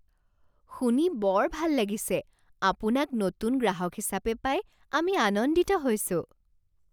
শুনি বৰ ভাল লাগিছে! আপোনাক নতুন গ্ৰাহক হিচাপে পাই আমি আনন্দিত হৈছোঁ।